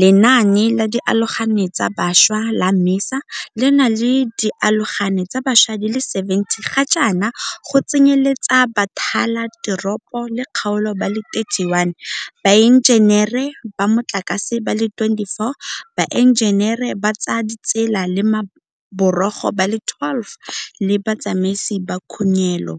Lenaane la Dialogane tsa Bašwa la MISA le na le dialogane tsa bašwa di le 70 gajaana, go tsenyeletsa bathala teropo le kgaolo ba le 31, baenjenere ba motlakase ba le 24, baenjenere ba tsa ditsela le maborogo ba le 12 le batsamaisi ba khunyelo